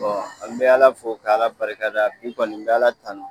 an bɛ Ala fo k'Ala barika da bi kɔni n bɛ Ala tanu